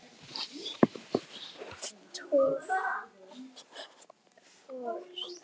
Töff Föt